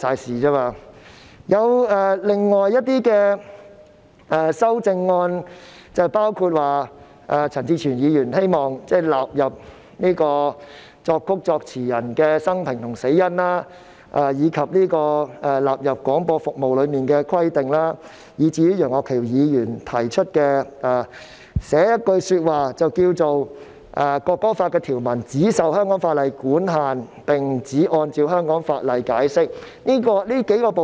至於另外一些修正案，包括陳志全議員希望納入作曲人及作詞人的生平和死因、要求納入關於廣播服務的規定，以及楊岳橋議員在其修正案中提出加入一句條文，訂明《條例草案》中的條文"只受香港法例管限並只按照香港法例解釋"。